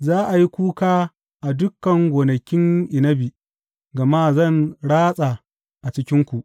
Za a yi kuka a dukan gonakin inabi, gama zan ratsa a cikinku,